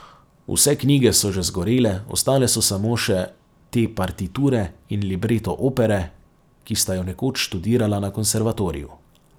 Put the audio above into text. Vse knjige so že zgorele, ostale so samo še te partiture in libreto opere, ki sta jo nekoč študirala na Konservatoriju.